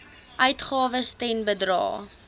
uitgawes ten bedrae